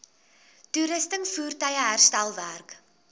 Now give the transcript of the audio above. toerusting voertuie herstelwerk